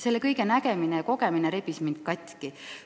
Selle kõige nägemine ja kogemine rebis mind katki.